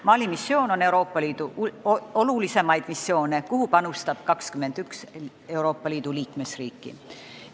Mali missioon on Euroopa Liidu olulisimaid missioone, kuhu panustab 21 Euroopa Liidu liikmesriiki.